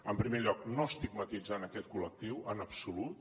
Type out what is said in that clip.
en primer lloc no estigmatitzant aquest col·lectiu en absolut